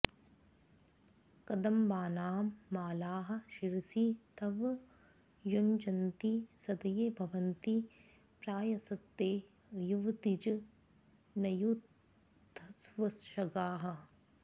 कदम्बानां मालाः शिरसि तव युञ्जन्ति सदये भवन्ति प्रायस्ते युवतिजनयूथस्ववशगाः